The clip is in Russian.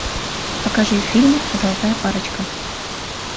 покажи фильм золотая парочка